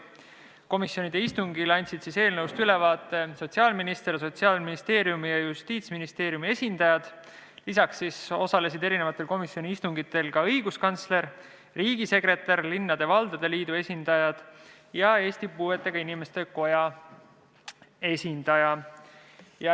Komisjoni istungil andsid eelnõust ülevaate sotsiaalminister ning Sotsiaalministeeriumi ja Justiitsministeeriumi esindajad, lisaks osalesid komisjoni istungitel õiguskantsler, riigisekretär, linnade ja valdade liidu esindajad ning Eesti Puuetega Inimeste Koja esindaja.